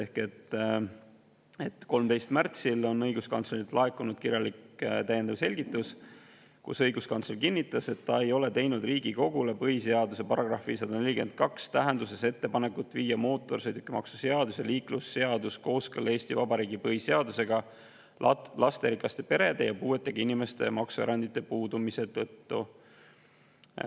13. märtsil on õiguskantslerilt laekunud kirjalik täiendav selgitus, kus ta kinnitas, et ta ei ole teinud Riigikogule põhiseaduse § 142 tähenduses ettepanekut viia mootorsõidukimaksu seadus ja liiklusseadus kooskõlla Eesti Vabariigi põhiseadusega lasterikaste perede ja puuetega inimeste maksuerandite puudumise tõttu.